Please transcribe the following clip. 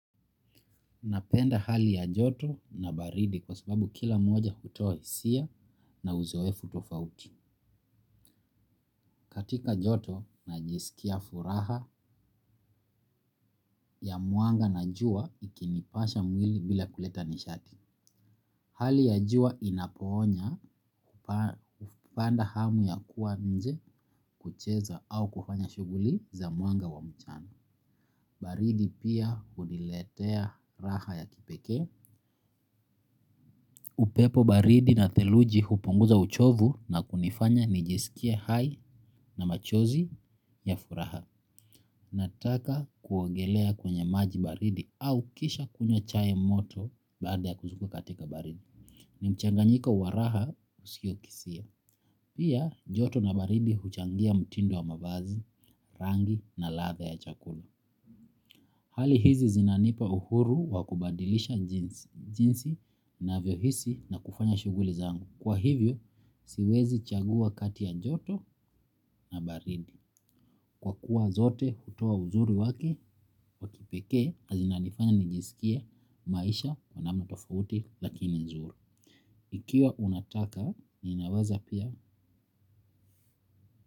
Napenda hali ya joto na baridi kwa sababu kila mmoja hutoa hisia na uzoefu tofauti. Katika joto na jisikia furaha ya mwanga na jua ikinipasha mwili bila kuleta nishati. Hali ya jua inakoonya upanda hamu ya kuwa nje kucheza au kufanya shuguli za mwanga wa mchana. Baridi pia huniletea raha ya kipeke. Upepo baridi na theluji hupunguza uchovu na kunifanya nijesikia hai na machozi ya furaha. Nataka kuogelea kwenye maji baridi au kisha kunywa chai moto baada ya kuzunguka katika baridi. Nimchanganyiko waraha usio kisia. Pia joto na baridi huchangia mtindo wa mavazi, rangi na latha ya chakulu. Hali hizi zinanipa uhuru wa kubadilisha jinsi na vyo hisi na kufanya shuguli zangu. Kwa hivyo, siwezi chagua kati ya joto na baridi. Kwa kuwa zote, hutoa uzuri wake wa kipeke, azina nifanya nijisikia maisha wa namna tofauti lakini nzuri. Ikiwa unataka, ninaweza pia.